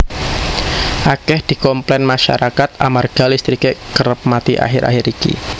akeh dikomplen masyarakat amarga listrike kerep mati akhir akhir iki